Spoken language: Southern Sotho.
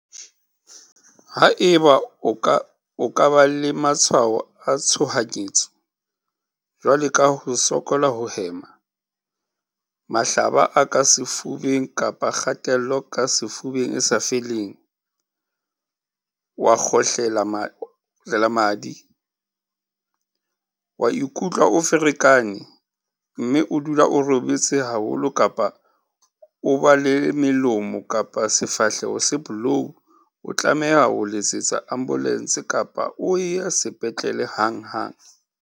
Haeba o ka ba le matshwao a tshohanyetso, jwalo ka ho sokola ho hema, mahlaba a ka sefubeng kapa kgatello ka sefubeng e sa feleng, wa kgohlela madi, wa ikutlwa o ferekane, mme o dula o robetse haholo kapa o ba le melomo kapa sefahleho se bolou o tlameha ho letsetsa ambolense kapa o ye sepetlele hanghang.